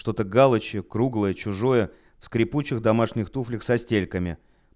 что-то галочье круглое чужое в скрипучих в домашних туфлях со стельками